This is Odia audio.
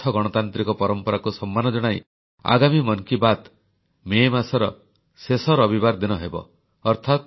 ସୁସ୍ଥ ଗଣତାନ୍ତ୍ରିକ ପରମ୍ପରାକୁ ସମ୍ମାନ ଜଣାଇ ଆଗାମୀ ମନ୍ କି ବାତ୍ ମେ ମାସର ଶେଷ ରବିବାର ଦିନ ଅନୁଷ୍ଠିତ ହେବ